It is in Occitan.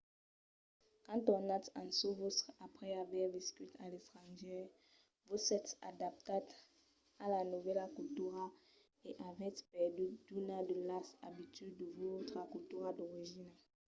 quand tornatz en çò vòstre après aver viscut a l’estrangièr vos sètz adaptats a la novèla cultura e avètz perdut d’unas de las abituds de vòstra cultura d’origina